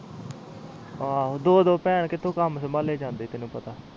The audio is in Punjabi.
ਹਾਂ ਦੋ ਦੋ ਭੈਣ ਕਾਮ ਕਿਥੇ ਸੰਭਾਲੇ ਜਾਂਦੇ ਤੈਨੂੰ ਪਤਾ ਆ